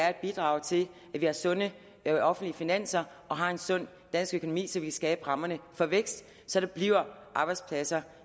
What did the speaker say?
at bidrage til at vi har sunde offentlige finanser og har en sund dansk økonomi så vi kan skabe rammerne for vækst så der bliver arbejdspladser